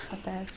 Boa tarde.